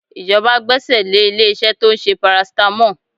Ìjọba gbẹ́sẹ̀ lé ilé-iṣẹ́ tó ń ṣe paracetamol